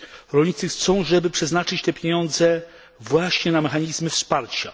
Rolnicy chcą, żeby przeznaczyć te pieniądze właśnie na mechanizmy wsparcia.